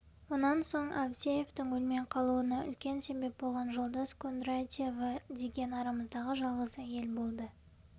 онан соң авдеевтің өлмей қалуына үлкен себеп болған жолдас кондратьева деген арамыздағы жалғыз әйел болды